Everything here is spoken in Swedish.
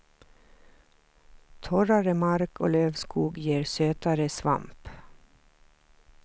Torrare mark och lövskog ger sötare svamp.